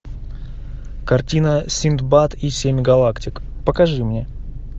картина синдбад и семь галактик покажи мне